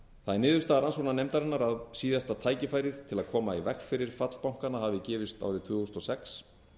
það er niðurstaða rannsóknarnefndarinnar að síðasta tækifærið til að koma í veg fyrir fall bankanna hafi gefist árið tvö þúsund og sex